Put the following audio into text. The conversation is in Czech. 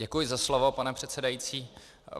Děkuji za slovo, pane předsedající.